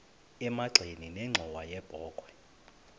emagxeni nenxhowa yebokhwe